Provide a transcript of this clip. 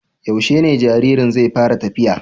Yaushe ne jaririn zai fara tafiya?